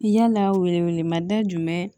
Yala welewele ma da jumɛn